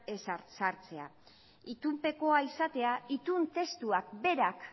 sartzea itunpekoa izatea itun testuak berak